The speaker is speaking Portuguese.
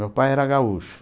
Meu pai era gaúcho.